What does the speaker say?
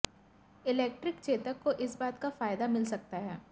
electric Chetak को इस बात का फायदा मिल सकता है